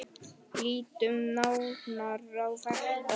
Lítum nánar á þetta.